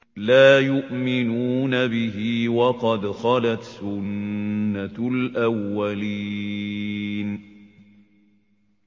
لَا يُؤْمِنُونَ بِهِ ۖ وَقَدْ خَلَتْ سُنَّةُ الْأَوَّلِينَ